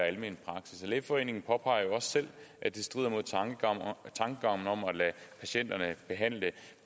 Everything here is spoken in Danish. almen praksis lægeforeningen påpeger jo også selv at det strider mod tankegangen om at lade patienterne behandle